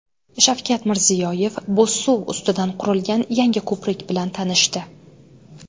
Shavkat Mirziyoyev Bo‘zsuv ustidan qurilgan yangi ko‘prik bilan tanishdi.